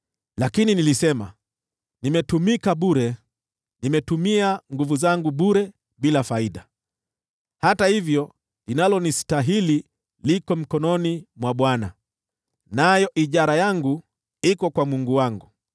Lakini nilisema, “Nimetumika bure, nimetumia nguvu zangu bure bila faida. Hata hivyo linalonistahili liko mkononi mwa Bwana , nao ujira wangu uko kwa Mungu wangu.”